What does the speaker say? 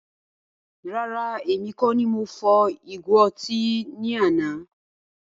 Rárá, èmi kọ ní mo fọ́ ìgo ọtí ní àna